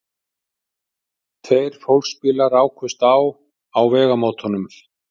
Tveir fólksbílar rákust á á vegamótunum